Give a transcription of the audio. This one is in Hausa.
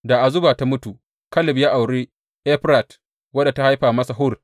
Da Azuba ta mutu, Kaleb ya auri Efrat, wadda ta haifa masa Hur.